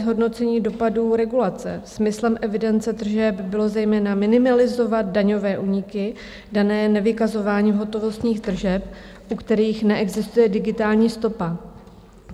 Zhodnocení dopadů regulace: Smyslem evidence tržeb bylo zejména minimalizovat daňové úniky dané nevykazováním hotovostních tržeb, u kterých neexistuje digitální stopa.